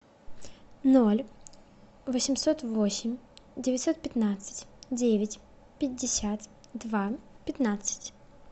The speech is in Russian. ноль восемьсот восемь девятьсот пятнадцать девять пятьдесят два пятнадцать